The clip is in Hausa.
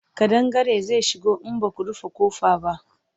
ƙadangare zai shigo in Baku rufe ƙofa ba